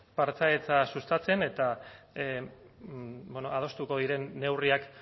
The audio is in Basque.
partaidetza sustatzen eta bueno adostuko diren neurriak